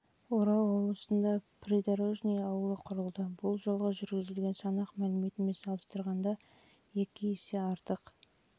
жылы орал облысында придорожный ауылы құрылды бұл жылғы жүргізілген санақ мәліметімен салыстырып қарағанда есеге артқан олар